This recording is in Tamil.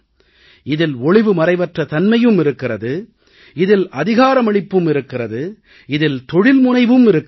இதில் ஒளிவுமறைவற்ற தன்மையும் இருக்கிறது இதில் அதிகாரமளிப்பும் இருக்கிறது இதில் தொழில்முனைவும் இருக்கிறது